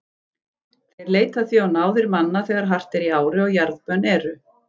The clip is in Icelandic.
Þeir leita því á náðir manna þegar hart er í ári og jarðbönn eru.